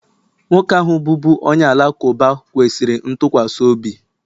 nwoke ahụ bụbu onye Alakụba kwesịrị ntụkwasị obi